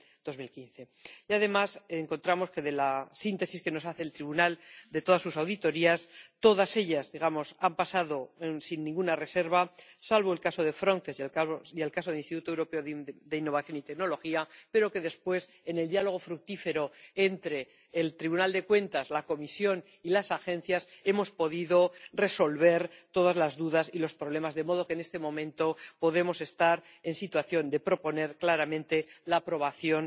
2015. Y además encontramos que, según la síntesis que nos hace el Tribunal de todas sus auditorías, todas ellas han pasado sin ninguna reserva, salvo en el caso de Frontex y en el caso del Instituto Europeo de Innovación y Tecnología, pero que después, en el diálogo fructífero con el Tribunal de Cuentas, la Comisión y las agencias, hemos podido resolver todas las dudas y los problemas, de modo que en este momento podemos estar en situación de proponer claramente la aprobación